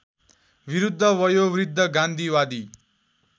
विरुद्ध वयोवृद्ध गान्धीवादी